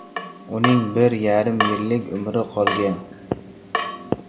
Uning bir yarim yillik umri qolgan.